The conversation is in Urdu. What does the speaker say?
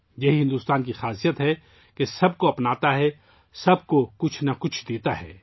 یہی بھارت کی خاصیت ہے کہ وہ سب کو اپناتا ہے، سب کو کچھ نہ کچھ دیتا ہے